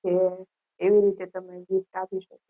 એવી રીતે તમે gift આપી શકો